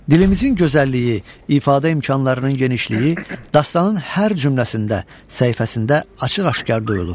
Dilimizin gözəlliyi, ifadə imkanlarının genişliyi, dastanın hər cümləsində, səhifəsində açıq-aşkar duyulur.